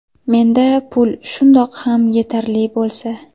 Menda pul shundoq ham yetarli bo‘lsa.